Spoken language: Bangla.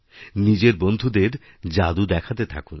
নিজের বন্ধুদের জাদু দেখাতে থাকুন